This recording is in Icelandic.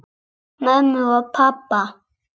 Mömmu og pabba!